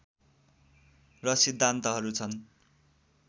र सिद्धान्तहरू छन्